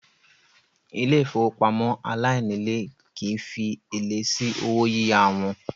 Ilé ìfowópamọ́ aláìnílèé kìí fi èlé sí owó yíyá wọn.